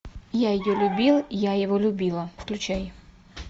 я ее любил я его любила включай